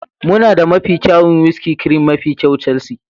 muna da mafi kyawun whiskey, cream mafi kyau, Chelsea,